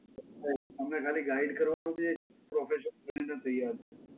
right, તમને ખાલી guide કરવાનું કે profession બધુ તો તૈયાર છે.